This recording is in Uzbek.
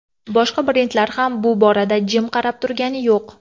Boshqa brendlar ham bu borada jim qarab turgani yo‘q.